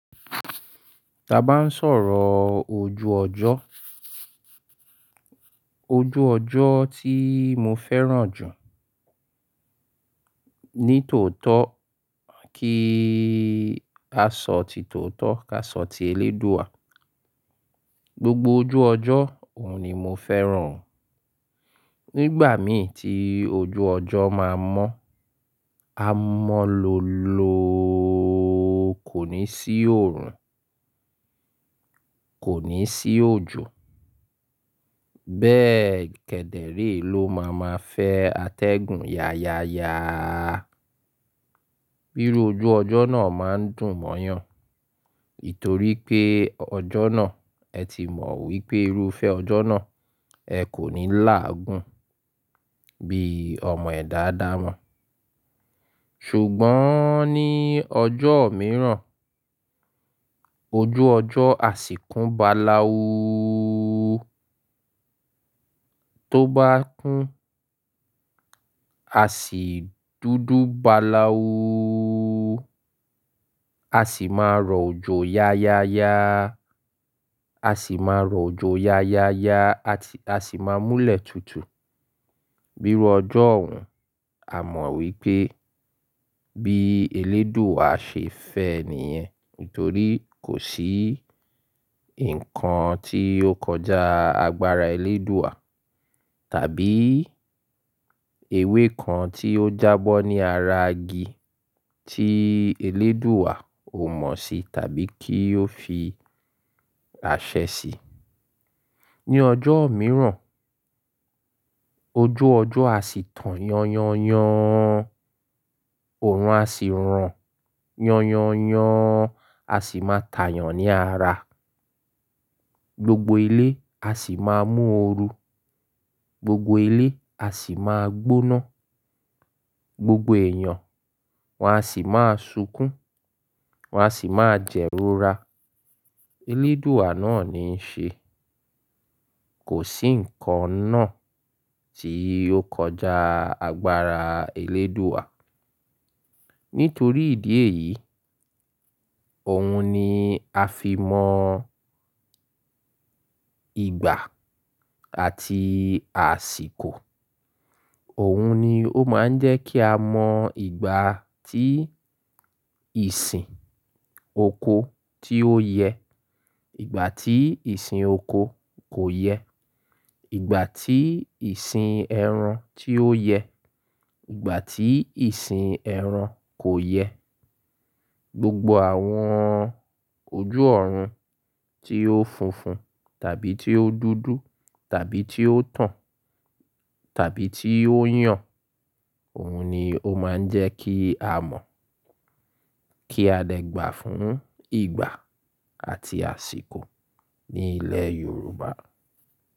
Da bá ń sọ̀rọ̀ ojú ọjọ́, ojú ọjọ́ tí mo fẹ́ràn jù ní tòótọ́ kí a sọ tìtòótọ́ ká sọ ti Elédùà. Gbogbo ojú ọjọ́ òun ni mo fẹ́ràn. Nígbà mí tí ojú ọjọ́ máa mọ́, a mọ́ lọ lọ kò ní sí òòrùn, kò ní sí òjò. Bẹ́ẹ̀ kẹ̀dẹ̀ rí ló máa ma fẹ́ atẹ́gùn yaya ya. Iru ojú ọjọ́ náà máa ń dùn mọ́yàn, nítorí pé ọjọ́ náà ẹ ti mọ̀ wípé irúfẹ́ ọjọ́ náà ẹ kò ní làágùn bí ọmọ ẹ̀dá ádamo Ṣùgbọ́n ní ọjọ́ mìíràn, ojú ọjọ́ a sì kún bá laú. Tó bá kún, a sì dúdú bá laú. A sì máa rọ òjò yaya ya. A sì máa rọ òjọ̀ yaya ya àti a sì máa múlẹ̀ tútù. Bí ojọ́ òun a mọ̀ wípé bí Elédùà ṣe fẹ́ ènìyàn nítorí kò sí ǹkan tí ó kọjá agbára Elédùà tàbí ewé kan tí ó jábọ́ ní ara igi tí Elédùà ò mọ̀ sí tàbí kí ó fi àṣẹ sí. Ní ọjọ́ mìíràn ojú ọjọ́ a sì tàn yanyan. Òòrùn a sì ràn yanyan a sì máa tàyàn ní ara. Gbogbo ilé a sì máa mú oru. Gbogbo ilé a sì máa gbóná. Gbogbo èèyàn wọ́n a sì máa sunkún, wọ́n a sì máa jẹ́rora. Elédùà náà ni ń ṣe. Kò sí ǹkan náà tí o kọjá agbára Elédùà. Nítorí ìdí èyí, òun ni a fi mọ ìgbà àti àsìkò. Òun ni ó máa ń jẹ́ kí a mọ ìgbà tí ìsìn oko tí ó yẹ, ìgbà tí ìsìn oko kò yẹ, ìgbà tí ìsìn ẹran tí ó yẹ, ìgbà tí ìsìn ẹran kò yẹ. Gbogbo àwọn ojú ọ̀run tí ó funfun tàbí tí ó dúdú tàbí tí ó tàn tàbí tí ó yàn, òun ni ó máa ń jẹ́ kí a mọ̀ kí a lè gbà fún ìgbà àti àsìkò ní ilẹ̀ Yorùbá.